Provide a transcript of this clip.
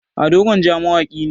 ado gwanja mawaki ne